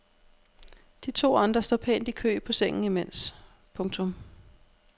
De to andre står pænt i kø på sengen imens. punktum